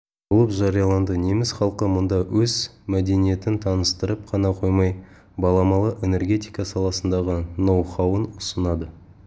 болып жарияланды неміс халқы мұнда өз мдениетін таныстырып қана қоймай баламалы энергетика саласындағы ноу-хауын ұсынады